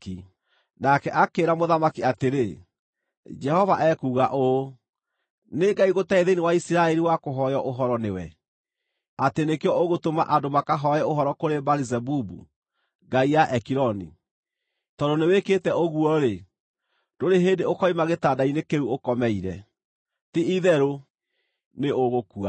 Nake akĩĩra mũthamaki atĩrĩ, “Jehova ekuuga ũũ: Nĩ Ngai gũtarĩ thĩinĩ wa Isiraeli wa kũhooywo ũhoro nĩwe, atĩ nĩkĩo ũgũtũma andũ makahooe ũhoro kũrĩ Baali-Zebubu, ngai ya Ekironi? Tondũ nĩwĩkĩte ũguo-rĩ, ndũrĩ hĩndĩ ũkoima gĩtanda-inĩ kĩu ũkomeire. Ti-itherũ nĩũgũkua!”